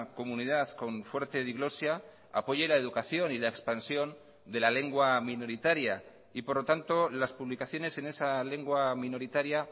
comunidad con fuerte diglosia apoye la educación y la expansión de la lengua minoritaria y por lo tanto las publicaciones en esa lengua minoritaria